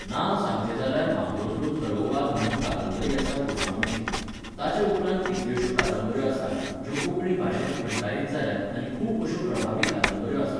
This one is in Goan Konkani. नांव सांगचे जाल्यार मामरोदरो तरोवाल म्हणून कांदबरी आसा गोस्वामिची. ताच्या उपरांत कितल्योश्यो कांदबऱ्यो आसात, ज्यो कोंकणी भाशेंत अणकारीत जाल्यात आनी खुब अश्यो प्रभावी कांदबऱ्यो आसात